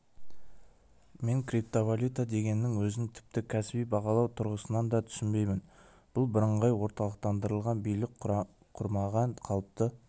мен криптовалюта дегеннің өзін тіпті кәсіби бағалау тұрғысынан да түсінбеймін бұл бірыңғай орталықтандырылған билік құрмаған қалыпты